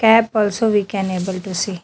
Cap also we can able to see.